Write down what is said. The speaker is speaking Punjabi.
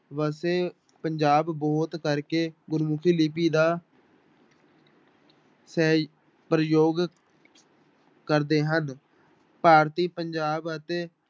ਵਸੇ ਪੰਜਾਬ ਬਹੁਤ ਕਰਕੇ ਗੁਰਮੁਖੀ ਲਿਪੀ ਦਾ ਸਹਿ ਪ੍ਰਯੋਗ ਕਰਦੇ ਹਨ, ਭਾਰਤੀ ਪੰਜਾਬ ਅਤੇ